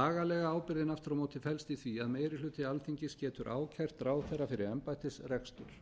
lagalega ábyrgðin aftur á móti felst í því að meiri hluti alþingis getur ákært ráðherra fyrir embættisrekstur